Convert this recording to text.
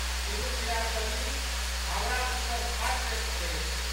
Tiruchirappalli Howrah superfast express